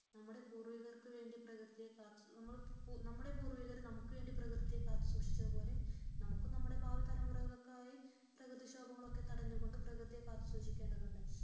നമ്മുടെ പൂർവികർക്കു വേണ്ടി പ്രകൃതിയെ കാത്തു നമ്മുടെ പൂർവികർ നമുക്ക് വേണ്ടി പ്രകൃതിയെ കാത്തു സൂക്ഷിച്ചതുപോലെ നമുക്ക് നമ്മുടെ ഭാവി തലമുറകൾക്കായി പ്രകൃതിക്ഷോഭങ്ങളെ തടഞ്ഞുകൊണ്ട് പ്രകൃതിയെ കാത്തു സൂക്ഷിക്കേണ്ടതുണ്ട്